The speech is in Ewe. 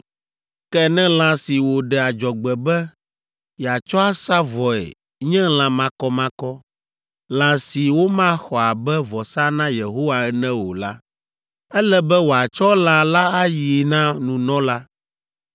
Ke ne lã si wòɖe adzɔgbe be yeatsɔ asa vɔe nye lã makɔmakɔ, lã si womaxɔ abe vɔsa na Yehowa ene o la, ele be wòatsɔ lã la ayi na nunɔla,